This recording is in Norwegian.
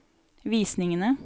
visningene